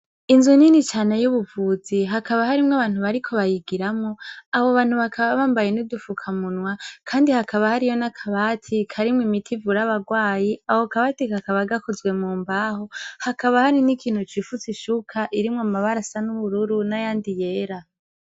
Inzu nini cane y'ubuvuzi, hakaba harimwo abantu bariko bayigiramwo, abo bantu bakaba bambaye n'udufukamunwa kandi hakaba hariyo n'akabatikarimwo imiti ivura abagwaye, ako kabati kakaba gakozwe mu mbaho, hakaba hari n'ikintu cifutse ishuka irimwo amabara asa n'ubururu n'ayandi yera.